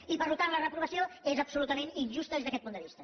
i per tant la reprovació és absolutament injusta des d’aquest punt de vista